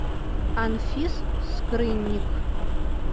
анфис скрынник